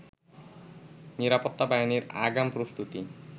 নিরাপত্তা বাহিনীর আগাম প্রস্তুতি